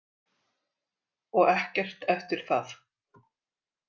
Og ekkert eftir það.